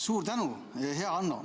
Suur tänu, hea Hanno!